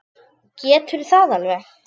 Geturðu það alveg?